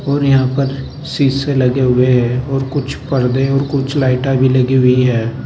और यहाँ पर शीशे लगे हुए हैं और कुछ पर्दे और कुछ लाइटा भी लगी हुई है।